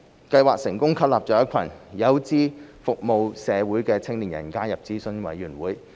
計劃成功吸納一群有志服務社會的青年人加入諮詢委員會。